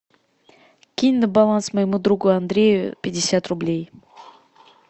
кинь на баланс моему другу андрею пятьдесят рублей